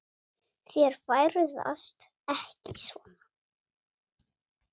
Þær ferðast ekki svona.